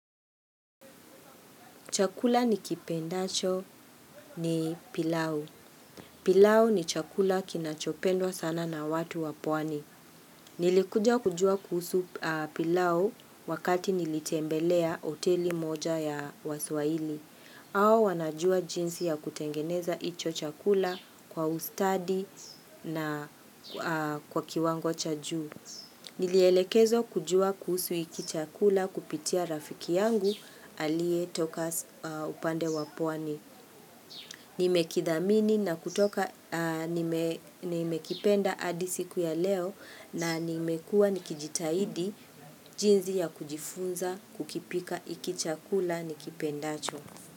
Chakula ni kipendacho ni pilau. Pilau ni chakula kinachopendwa sana na watu wa pwani. Nilikuja kujua kuhusu pilau wakati nilitembelea hoteli moja ya waswahili. Hawa wanajua jinsi ya kutengeneza hicho chakula kwa ustadi na kwa kiwango cha juu. Nilielekezwa kujua kuhusu hiki chakula kupitia rafiki yangu aliye toka upande wa pwani. Nime kithamini na kutoka nimekipenda hadi siku ya leo na nimekuwa nikijitahidi jinsi ya kujifunza kukipika hiki chakula nikipendacho.